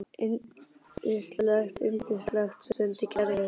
Yndislegt, yndislegt stundi Gerður og teygaði að sér sólina.